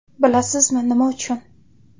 Bilasizmi, nima uchun?